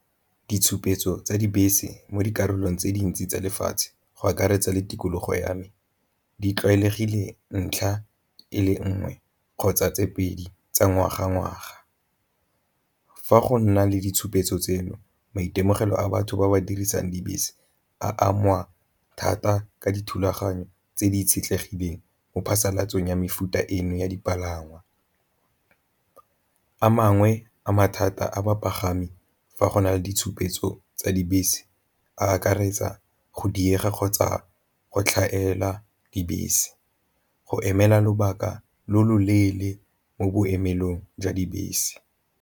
Ditshupetso tsa dibese mo dikarolong tse dintsi tsa lefatshe go akaretsa le tikologo ya me, di tlwaelegile ntlha e le nngwe kgotsa tse pedi tsa ngwaga ngwaga. Fa go nna le ditshupetso tseno maitemogelo a batho ba ba dirisang dibese a angwa thata ka dithulaganyo tse di itshetlegileng mo phasalatsong ya mefuta eno ya dipalangwa, a mangwe a mathata a bapagami fa go na le ditshupetso tsa dibese a akaretsa go diega kgotsa go tlhaela dibese go emela lobaka lo lo leele mo boemelong jwa dibese.